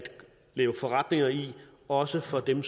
lave forretninger i også for dem